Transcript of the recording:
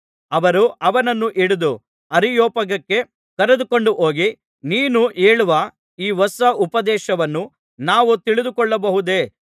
ಅವರು ಅವನನ್ನು ಹಿಡಿದು ಅರಿಯೊಪಾಗಕ್ಕೆ ಕರೆದುಕೊಂಡು ಹೋಗಿ ನೀನು ಹೇಳುವ ಈ ಹೊಸ ಉಪದೇಶವನ್ನು ನಾವು ತಿಳಿದುಕೊಳ್ಳಬಹುದೇ